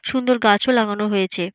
সুন্দর গাছ ও লাগানো হয়েছে।